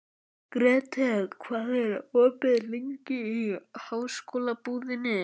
Grethe, hvað er opið lengi í Háskólabúðinni?